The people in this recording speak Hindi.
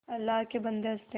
अल्लाह के बन्दे हंस दे